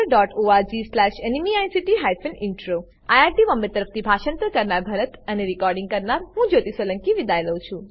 httpspoken tutorialorgNMEICT Intro IIT Bombay તરફથી હું ભરતભાઈ સોલંકી વિદાય લઉં છું